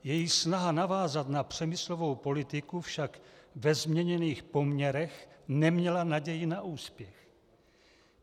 Její snaha navázat na Přemyslovu politiku však ve změněných poměrech neměla naději na úspěch.